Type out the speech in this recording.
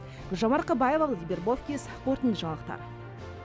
гүлжан марқабаева владимир бовкис қорытынды жаңалықтар